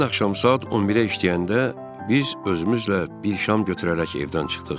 Həmin axşam saat 11-ə işləyəndə biz özümüzlə bir şam götürərək evdən çıxdıq.